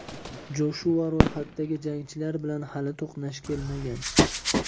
Joshua ro‘yxatdagi jangchilar bilan hali to‘qnash kelmagan.